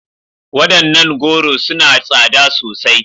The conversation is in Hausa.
Wadannan goro suna da tsada sosai.